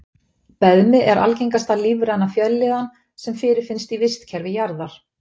Beðmi er algengasta lífræna fjölliðan sem fyrirfinnst í vistkerfi jarðar.